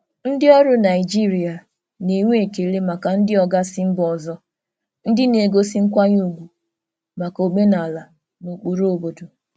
Ndị ọrụ Naịjirịa na-enwe ekele maka ndị oga si mba ọzọ ndị na-egosi nkwanye ùgwù maka omenala na ụkpụrụ obodo.